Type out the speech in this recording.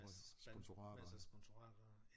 Masser masser af sponsorater